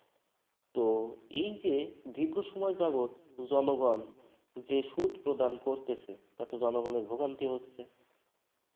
তো এই যে দীর্ঘ সময় যাবত জনগণ যে সুদ প্রদান করতেছে জনগণের তাতে ভোগান্তি হচ্ছে।